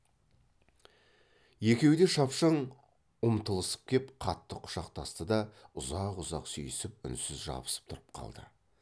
екеуі де шапшаң ұмтылысып кеп қатты құшақтасты да ұзақ ұзақ сүйісіп үнсіз жабысып тұрып қалды